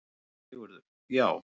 SÉRA SIGURÐUR: Já!